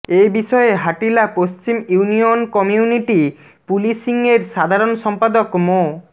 এ বিষয়ে হাটিলা পশ্চিম union community পুলিশিংয়ের সাধারণ সম্পাদক মো